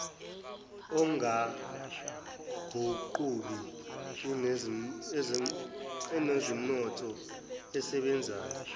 ongaguquki onezomnotho osebenzayo